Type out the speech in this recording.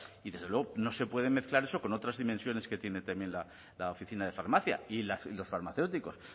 y desde luego no se pueden mezclar eso con otras dimensiones que tiene también la oficina de farmacia y los farmacéuticos